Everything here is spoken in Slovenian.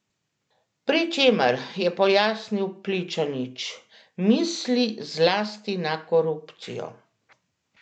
Pri čemer, je pojasnil Pličanič, misli zlasti na korupcijo.